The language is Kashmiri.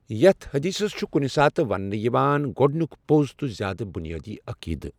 یَتھ حدیثس چھ کُنہِ ساتہٕ ونٛنہٕ یوان گۄٚڈٕنیک پوٚز تہٕ زیٛادٕ بُنیٲدی عقیٖدٕ